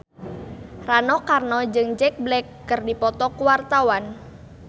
Rano Karno jeung Jack Black keur dipoto ku wartawan